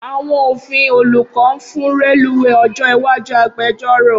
Awọn Ofin Oluko nfun reluwe ojo iwaju agbẹjọro